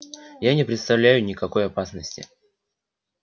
я не представляю никакой опасности